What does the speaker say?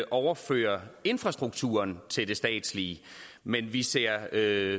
overføre infrastrukturen til det statslige men vi ser